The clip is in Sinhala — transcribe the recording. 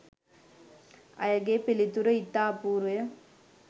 ඇයගේ පිළිතුර ඉතා අපූරුය